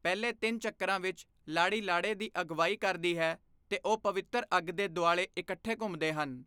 ਪਹਿਲੇ ਤਿੰਨ ਚੱਕਰਾਂ ਵਿੱਚ, ਲਾੜੀ ਲਾੜੇ ਦੀ ਅਗਵਾਈ ਕਰਦੀ ਹੈ ਤੇ ਉਹ ਪਵਿੱਤਰ ਅੱਗ ਦੇ ਦੁਆਲੇ ਇਕੱਠੇ ਘੁੰਮਦੇ ਹਨ।